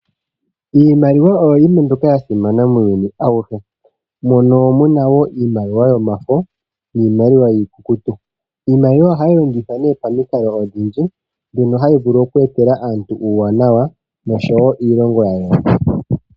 Iimaliwa oyo yimwe mbyoka yasimana muuyuni auhe. Opuna iimaliwa yomafo niimaliwa iikukutu. Iimaliwa ohayi longithwa pamikalo odhindji, hayi vulu oku etela aantu uuwanawa noshowo iilonga yayooloka.